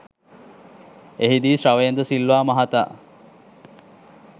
එහිදී ශවේන්ද්‍ර සිල්වා මහතා